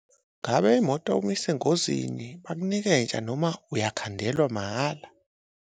Ngabe imoto uma isengozini bakunika entsha noma uyakhandelwa mahhala?